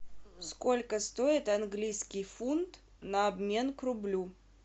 сколько стоит английский фунт на обмен к рублю